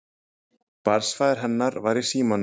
Barnsfaðir hennar var í símanum.